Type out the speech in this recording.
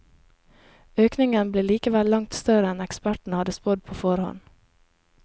Økningen ble likevel langt større enn ekspertene hadde spådd på forhånd.